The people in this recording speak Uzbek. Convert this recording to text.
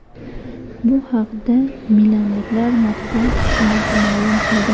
Bu haqda milanliklar matbuot xizmati ma’lum qildi .